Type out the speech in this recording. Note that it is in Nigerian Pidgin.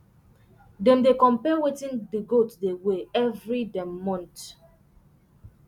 dem dey compare wetin the goat dey weigh every um month